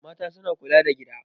Mata suna kula da gida.